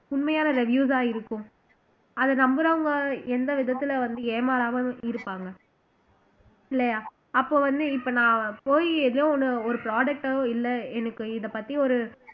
உண்மையான reviews ஆ இருக்கும் அத நம்புறவங்க எந்த விதத்துல வந்து ஏமாறாமல் இருப்பாங்க இல்லையா அப்ப வந்து இப்ப நான் போயி எதோ ஒண்ணு ஒரு product ஓ இல்ல எனக்கு இதைப்பத்தி ஒரு இது